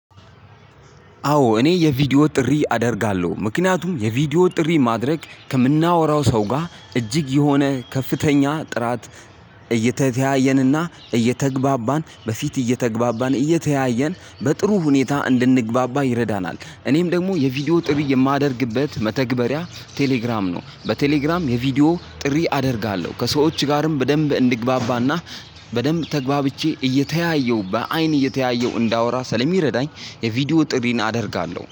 አዎ እኔ የቪዲዮ ጥሪ አደርጋለሁ ምክንያቱም የቪዲዮ ጥሪ ማድረግ ከምናወራው ሰው ጋር እጅግ የሆነ ከፍተኛ ጥራት እየተተያየንና እየተግባባን በፊት እየተግባባን እየተያየን በጥሩ ሁኔታ እንድንግባባ ይረዳናል። እኔም ደግሞ የቪዲዮ ጥሪ የማደርግበት መተግበሪያ ቴሌግራም ነው በቴሌግራም የቪዲዮ ጥሪ አደርጋለሁ። ከሰዎች ጋርም በደንብ እንድግባባና በደንብ ተግባብቸ እየተያየሁ በአይን እየተያየሁ እንዳወራ ስለሚረዳኝ። ቪድዮ ጥሪን አደረጋለሁ